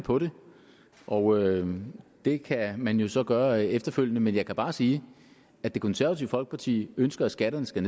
på det og det kan man jo så gøre efterfølgende men jeg kan bare sige at det konservative folkeparti ønsker at skatterne skal